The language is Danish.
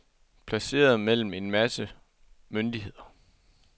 Placeret mellem en masse myndigheder.